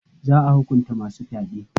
Za a hukunta masu fyaɗe.